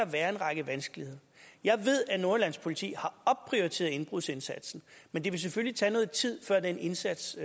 være en række vanskeligheder jeg ved at nordjyllands politi har opprioriteret indbrudsindsatsen men det vil selvfølgelig tage noget tid før den indsats